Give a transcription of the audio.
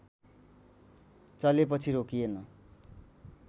चलेपछि रोकिएन